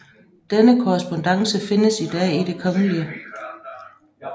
Denne korrespondance findes i dag i Det Kgl